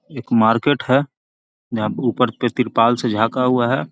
एक मार्किट है जहाँ पे ऊपर पे तिरपाल से झाका हुआ है